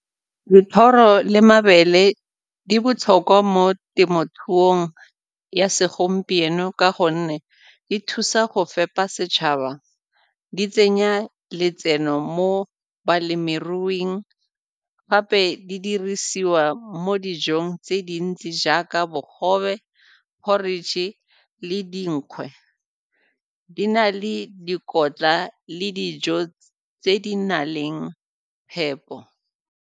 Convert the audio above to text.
Dithoro le mabele di botlhokwa mo temothuong ya segompieno ka gonne di thusa go fepa setšhaba, di tsenya letseno mo balemiruing, gape di dirisiwa mo dijong tse dintsi jaaka bogobe, porridge le dinkgwe, di na le dikotla le dijo tse di na leng phepo.